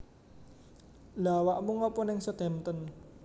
Lha awakmu ngopo ning Southampton?